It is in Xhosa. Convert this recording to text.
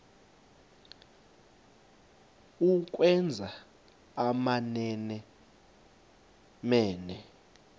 ukwenza amamene mene